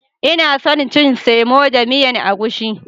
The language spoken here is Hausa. inason cin semo da miyan egusi.